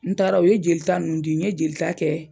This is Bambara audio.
N taara o ye jeli ta nunnu di n ye jeli ta kɛ